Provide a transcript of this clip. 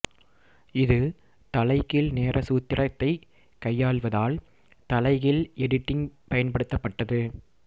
இது தலைகீழ் நேர சூத்திரத்தைக் கையாள்வதால் தலைகீழ் எடிட்டிங் பயன்படுத்தப்பட்டது